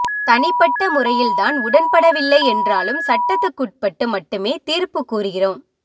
தனிப்பட்ட முறையில் தான் உடன்படவில்லை என்றாலும் சட்டத்துக்குட்பட்டு மட்டுமே தீர்ப்பு கூறுகிறோம்